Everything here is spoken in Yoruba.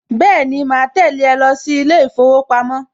Bẹ́ẹ̀ni, màá tẹ̀lé ẹ lọ sí ilé ìfowópamọ́